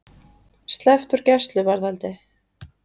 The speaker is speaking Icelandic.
Sleppt úr gæsluvarðhaldi